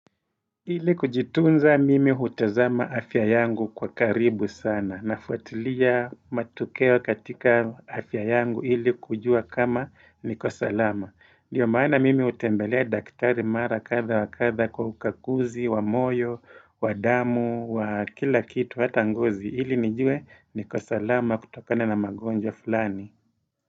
Ili kujitunza mimi hutazama afya yangu kwa karibu sana nafuatilia matokeo katika afya yangu ili kujua kama niko salama. Ndiyo maana mimi hutembelea daktari mara kadha wa kadha kwa ukaguzi, wa moyo, wa damu, wa kila kitu hata ngozi. Ili nijue niko salama kutokana na magonjwa fulani.